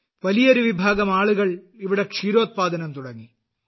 വലിയൊരു വിഭാഗം ആളുകൾ ഇവിടെ ക്ഷീരോത്പാദനം തുടങ്ങി